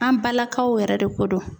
An balakaw yɛrɛ de ko don.